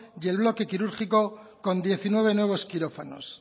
y el bloque quirúrgico con diecinueve nuevos quirófanos